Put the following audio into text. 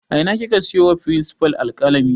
A ina kika siyo wa firinsifal alƙalami